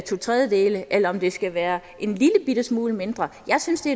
tredjedele eller om det skal være en lillebitte smule mindre jeg synes det